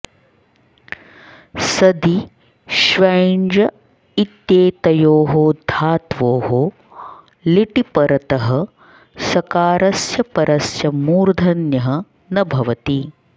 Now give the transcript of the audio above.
सदि ष्वञ्ज इत्येतयोः धात्वोः लिटि परतः सकारस्य परस्य मूर्धन्यः न भवति